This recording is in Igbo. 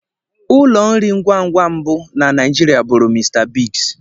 Ụlọ nri ngwangwa mbụ na Naijiria bụrụ Mr Biggs.